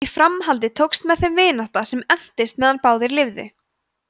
í framhaldi tókst með þeim vinátta sem entist meðan báðir lifðu